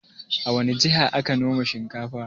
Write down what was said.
A wani jiha ake noman shinkafa?